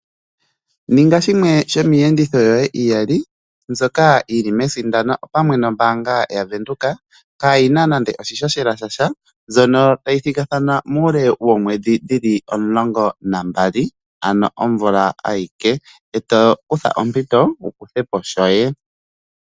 Ninga shimwe shomiiyenditho yoye iyali mbyoka yili mesindano, opamwe nombaanga yaVenduka, kaa yina nande oshihohela shasha mbyono tayi thigathana muule woomwedhi dhili omulongo nambali ano omvula ayike, e to kutha ompito wu kuthe po shoye.